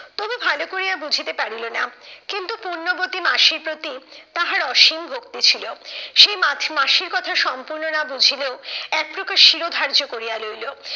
তবু ভালো করিয়া বুঝিতে পারিল না, কিন্তু পুণ্যবতী মাসির প্রতি তাহার অসীম ভক্তি ছিল। সেই মা মাসির কথা সম্পূর্ণ না বুঝিলেও এক প্রকার শিরোধার্য করিয়া লইলো।